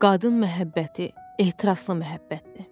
Qadın məhəbbəti ehtiraslı məhəbbətdir.